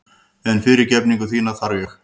En fyrirgefningu þína þarf ég.